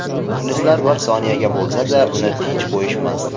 Muxlislar bir soniyaga bo‘lsa-da uni tinch qo‘yishmasdi.